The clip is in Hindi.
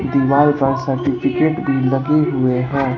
दीवाल पर सर्टिफिकेट भी लगे हुए हैं।